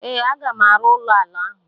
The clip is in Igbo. Ee, a ga m arụ ụlọ ala ahụ.